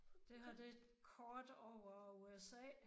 Det her det er et kort over USA